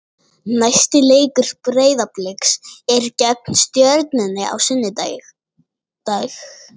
Næsti leikur Breiðabliks er gegn Stjörnunni á sunnudag.